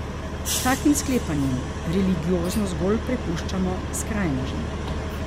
S takim sklepanjem religiozno zgolj prepuščamo skrajnežem.